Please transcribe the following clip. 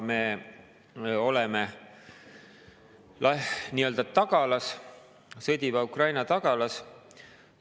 Me oleme nii-öelda tagalas, sõdiva Ukraina tagalas.